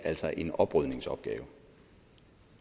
altså en oprydningsopgave